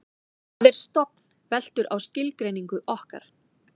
hvað er stofn veltur á skilgreiningu okkar